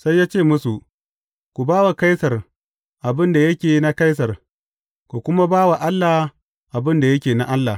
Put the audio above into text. Sai ya ce musu, Ku ba wa Kaisar abin da yake na Kaisar, ku kuma ba wa Allah abin da yake na Allah.